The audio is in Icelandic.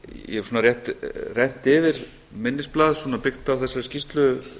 ég hef svona rétt rennt yfir minnisblað byggt á þessari skýrslu